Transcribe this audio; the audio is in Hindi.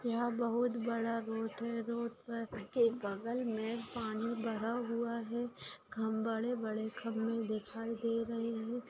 यहाँ बहुत बड़ा रोड है रोड पर के बगल मे पानी भरा हुआ है खंब-- बड़े-बड़े खंबे दिखाई दे रहे है।